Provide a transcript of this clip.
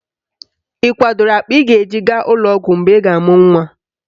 Ị kwadoro akpa ị ga-eji gaa ụlọọgwọ mgbe ị ga-amụ nnwa